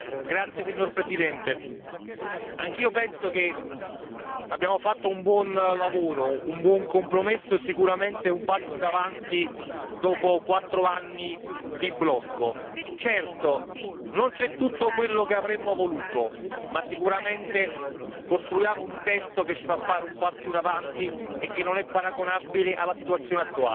Signora Presidente, onorevoli colleghi, anch'io penso che abbiamo fatto un buon lavoro, un buon compromesso, sicuramente un passo in avanti dopo quattro anni di blocco. Certo, non c'è tutto quello che avremmo voluto, ma sicuramente costruiamo un testo che ci fa fare un passo in avanti e che non è paragonabile alla situazione attuale.